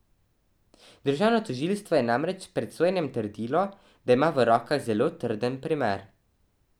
Državno tožilstvo je namreč pred sojenjem trdilo, da ima v rokah zelo trden primer.